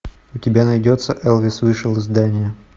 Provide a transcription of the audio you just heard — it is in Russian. у тебя найдется элвис вышел из здания